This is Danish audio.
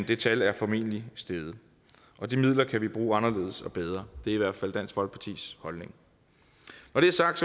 det tal er formentlig steget og de midler kan vi bruge anderledes og bedre det er i hvert fald dansk folkepartis holdning når det er sagt